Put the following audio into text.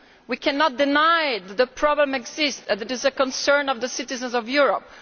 We cannot deny that the problem exists, and it is a concern of the citizens of Europe.